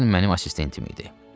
Kern mənim assistentim idi.